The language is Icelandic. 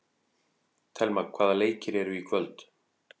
Thelma, hvaða leikir eru í kvöld?